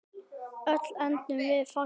Öll endum við þarna.